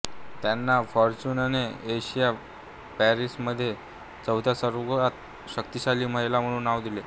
त्यांना फॉर्च्यूनने एशिया पॅसिफिकमध्ये चौथ्या सर्वात शक्तिशाली महिला म्हणून नाव दिले